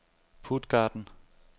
Puttgarden